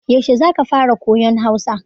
Yaushe za ka fara koyan Hausa?